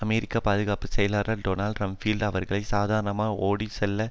அமெரிக்க பாதுகாப்பு செயலாளர் Donald Rumsfeld அவர்களை சாதாரணமாக ஓடிச்செல்ல